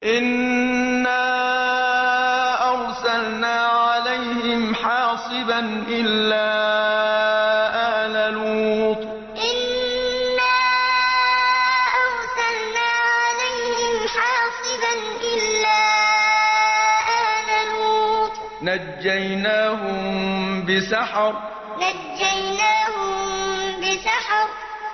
إِنَّا أَرْسَلْنَا عَلَيْهِمْ حَاصِبًا إِلَّا آلَ لُوطٍ ۖ نَّجَّيْنَاهُم بِسَحَرٍ إِنَّا أَرْسَلْنَا عَلَيْهِمْ حَاصِبًا إِلَّا آلَ لُوطٍ ۖ نَّجَّيْنَاهُم بِسَحَرٍ